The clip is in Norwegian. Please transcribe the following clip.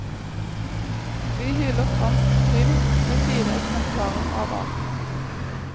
Vi hyller fransk krim ved fire eksemplarer av arten.